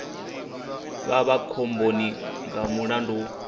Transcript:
vha vha khomboni nga mulandu